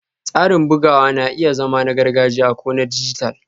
Tsarin bugawa na iya zama na gargajiya ko na dijital